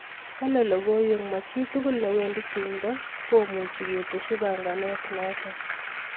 Kale logoiwek machitugul newendi tumdo komuchi keteshi panganet notok .